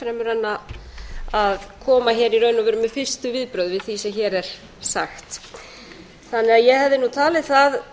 en að koma í raun með fyrstu viðbrögð við því sem hér er sagt ég hefði talið það